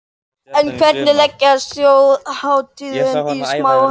En hvernig leggst þjóðhátíðin í smáfólkið?